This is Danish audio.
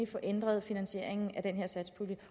få ændret finansieringen af den her satspulje